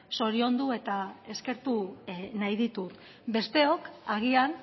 zoriondu eta eskertu nahi ditut besteok agian